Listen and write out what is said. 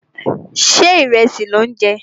Ṣé ìrẹsì lò ń jẹ?